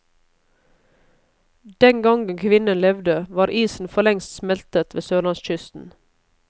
Den gangen kvinnen levde, var isen forlengst smeltet ved sørlandskysten.